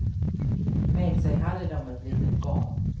Med sig hade de ett litet barn.